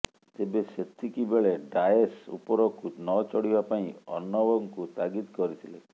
ତେବେ ସେତିକି ବେଳେ ଡାଏସ ଉପରକୁ ନଚଢିବା ପାଇଁ ଅର୍ଣ୍ଣବଙ୍କୁ ତାଗିଦ କରିଥିଲେ